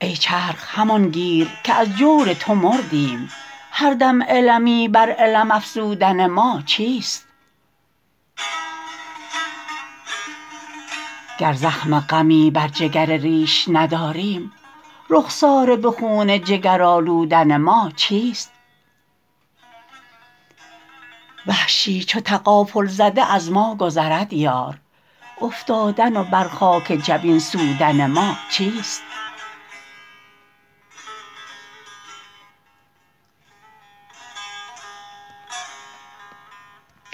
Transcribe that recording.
ای چرخ همان گیر که از جور تو مردیم هر دم المی بر الم افزودن ما چیست گر زخم غمی بر جگر ریش نداریم رخساره به خون جگر آلودن ما چیست وحشی چو تغافل زده از ما گذرد یار افتادن و بر خاک جبین سودن ما چیست